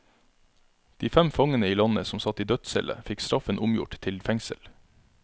De fem fangene i landet som satt i dødscelle fikk straffen omgjort til fengsel.